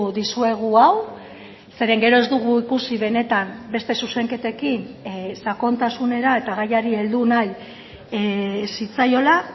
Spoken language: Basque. dizuegu hau zeren gero ez dugu ikusi benetan beste zuzenketekin sakontasunera eta gaiari heldu nahi zitzaiola